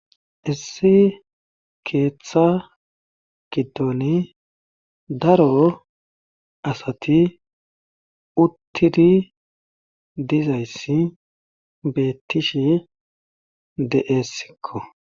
Issi keeththa giddoni daro asati uttiri dizayssi beettishi de'essikko.